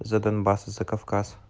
за донбасс за кавказ